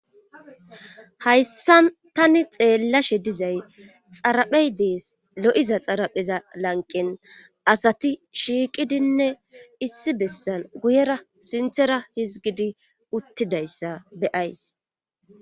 Hayssa tani xeellashe dizay xaraphey dees lo7iza xarapheza lanqen asati shiiqidinne issi bessan guyera sinthera hizgidi uttidayssa beyays.